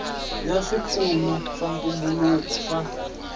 ya swipfuno swa ntumbuluko swa